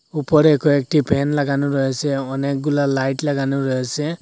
উপরে কয়েকটি ফ্যান লাগানো রয়েসে অনেকগুলা লাইট লাগানো রয়েসে।